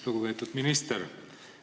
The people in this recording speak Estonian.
Lugupeetud minister!